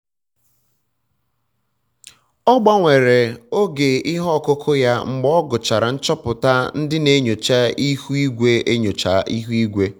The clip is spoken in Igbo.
ọ gbanwere oge ihe ọkụkụ ya mgbe ọ gụchara nchopụta ndị na enyocha ihu igwe enyocha ihu igwe